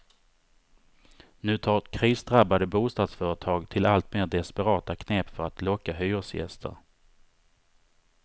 Nu tar krisdrabbade bostadsföretag till alltmer desperata knep för att locka hyresgäster.